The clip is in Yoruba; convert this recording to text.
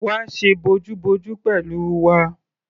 Wá ṣe bojúbojú pẹ̀lú wa!